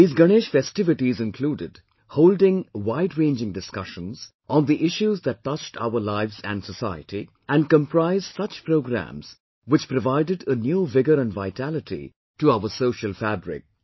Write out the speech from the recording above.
These Ganesh festivities included holding wideranging discussions on the issues that touched our lives and society, and comprised such programmes which provided a new vigour and vitality to our social fabric